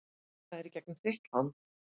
Það er í gegnum þitt land?